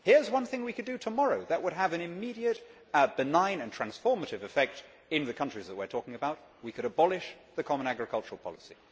Here is one thing we could do tomorrow that would have an immediate, benign and transformative effect in the countries that we are talking about we can abolish the common agricultural policy.